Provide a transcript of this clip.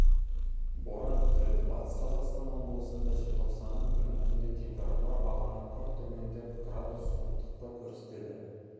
боран күтіледі батыс қазақстан облысында желтоқсанның күні түнде температура бағаны күрт төмендеп градус суықтықты көрсетеді